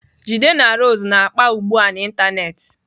Jide na Rose na-akpa ugbu a n'ịntanetị.